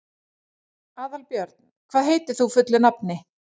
Aðalbjörn, hvað heitir þú fullu nafni?